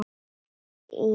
Ína systir.